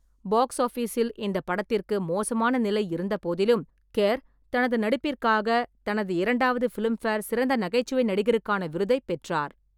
Box ஆபிஸில் இந்த படத்திற்கு மோசமான நிலை இருந்தபோதிலும், கெர் தனது நடிப்பிற்காக தனது இரண்டாவது பிலிம்பேர் சிறந்த நகைச்சுவை நடிகருக்கான விருதைப் பெற்றார்.